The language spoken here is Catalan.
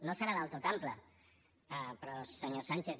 no deu ser del tot ampli però senyor sánchez